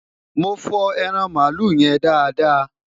mọ fo ẹran malu yen dáadáa